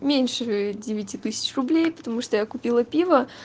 меньше девяти тысяч рублей потому что я купила пива